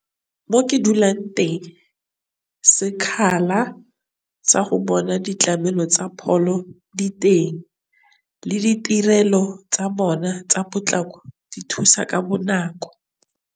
Mo ke dulang teng, sekgala sa go bona ditlamelo tsa pholo di teng le ditirelo tsa bona tsa potlako di thusa ka bonako.